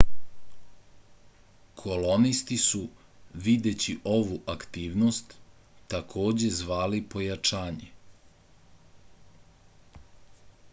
kolonisti su videći ovu aktivnost takođe zvali pojačanje